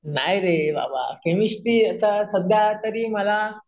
नाही रे बाबा केमिस्टरी चा सध्या तरी मला